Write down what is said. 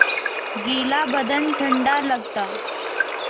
गीला बदन ठंडा लगता